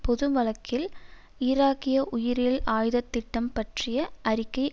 பொது வாழ்க்கில் ஈராக்கிய உயிரியல் ஆயுதத்திட்டம் பற்றிய அறிக்கை